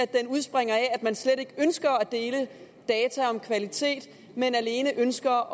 den udspringer af at man slet ikke ønsker at dele data om kvalitet men alene ønsker